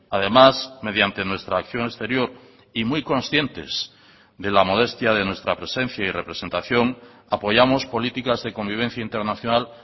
además mediante nuestra acción exterior y muy conscientes de la modestia de nuestra presencia y representación apoyamos políticas de convivencia internacional